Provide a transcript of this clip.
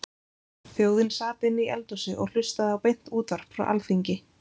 Þjóðin sat inni í eldhúsi og hlustaði á beint útvarp frá Alþingi.